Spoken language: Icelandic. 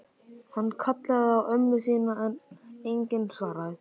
Hann kallaði á ömmu sína en enginn svaraði.